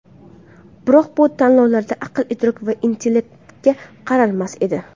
Biroq bu tanlovlarda aql-idrok va intellektga qaralmas edi.